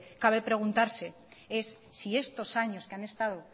cabe preguntarse es si estos años que han estado